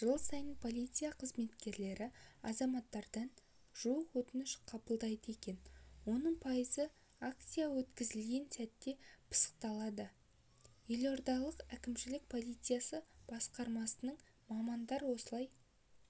жыл сайын полиция қызметкерлері азаматтардан жуық өтініш қабылдайды екен оның пайызы акция өткізілген сәтте пысықталады елордалық әкімшілік полициясы басқармасының мамандары осылай